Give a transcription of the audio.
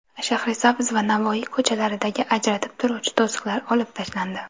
Shahrisabz va Navoiy ko‘chalaridagi ajratib turuvchi to‘siqlar olib tashlandi .